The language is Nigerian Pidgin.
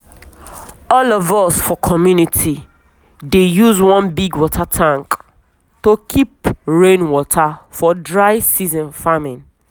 all of us for community dey use one big water tank to keep rain water for dry season farming.